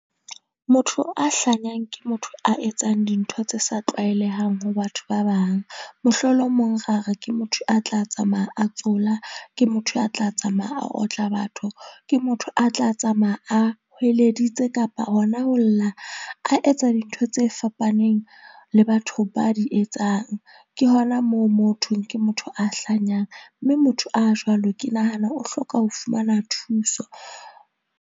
Motho a hlanyang ke motho a etsang dintho tse sa tlwaelehang ho batho ba bang. Mohlolomong ra re ke motho a tla tsamaya a tsola. Ke motho a tla tsamaya a otla batho. Ke motho a tla tsamaya a hweleditse kapa hona ho lla, a etsa dintho tse fapaneng le batho ba di etsang. Ke hona moo mo ho thweng ke motho a hlanyang. Mme motho a jwalo ke nahana o hloka ho fumana thuso.